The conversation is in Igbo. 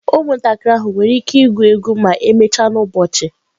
Ụmụntakịrị ahụ nwere ike igwu egwu ma emechaa n'ụbọchị?